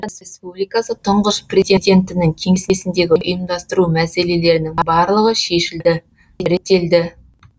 қазақстан республикасы тұңғыш президентінің кеңсесіндегі ұйымдастыру мәселелерінің барлығы шешілді реттелді